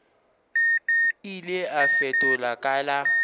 ile a fetola ka la